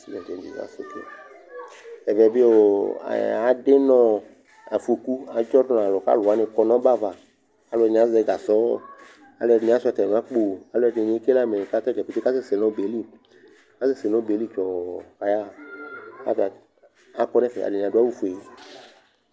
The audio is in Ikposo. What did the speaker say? Ɛvɛ bɩ ɔ adɩ nʋ ɔ afɔku adzɔ dʋ nʋ alʋ kʋ alʋ wanɩ kɔ nʋ ɔbɛ ava kʋ alʋɛdɩnɩ azɛ gasɔ, alʋɛdɩnɩ asʋɩa atamɩ akpo, alʋɛdɩnɩ ekele amɛ kʋ ata dza keke kʋ akasɛsɛ nʋ ɔbɛ yɛ li, akasɛsɛ nʋ ɔbɛ yɛ li tsɔɔ kʋ ayaɣa kʋ ata akɔ nʋ ɛfɛ Atanɩ adʋ awʋfue